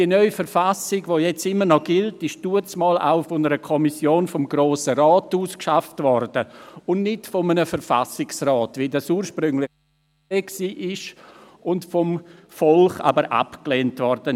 Die neue Verfassung, die jetzt noch gilt, wurde damals auch von einer Kommission des Grossen Rates ausgearbeitet, und nicht von einem Verfassungsrat, wie dies ursprünglich vorgesehen war, aber vom Volk abgelehnt wurde.